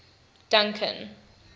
duncan